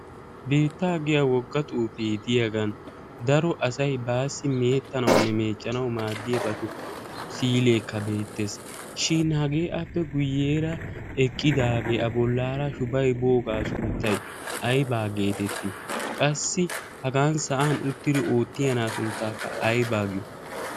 biittaa giya woga xuufee diyagan daro asay baassi kaa'anawunne miiccanawu maadiya si'ileekka beeteees. shin hagee appe guyeera eqqidaagee a bolaara shubbay boogaa sunttay aybaa geeteteii? qassi hagaa sa'an uttidi oottiya na; aa sunttay aybaa giyo?